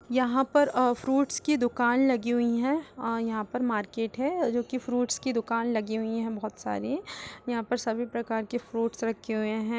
यहाँ पर अ फ्रूट्स की दुकान लगी हुई हैं। अ यहाँ पर मार्किट है जोकि फ्रूट्स की दुकान लगी हुई हैं। बोहत सारे यहाँ पर सभी प्रकार के फूड्स रखे हुए हैं।